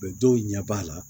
dɔw ɲɛ b'a la